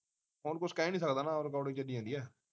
ਹੁਣ ਕੁਛ ਕਹਿ ਨਹੀਂ ਸਕਦਾ ਨਾ ਰਿਕਾਰਡਿੰਗ ਚੱਲੀ ਜਾਂਦੀ ਐ